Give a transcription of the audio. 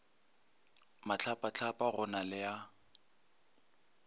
mahlapahlapa go na le a